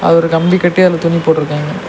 அது ஒரு கம்பி கட்டி அதுல துணி போட்ருகாங்க.